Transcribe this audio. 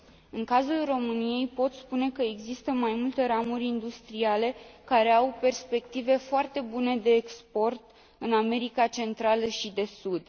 În cazul României, pot spune că există mai multe ramuri industriale care au perspective foarte bune de export în America Centrală și de Sud.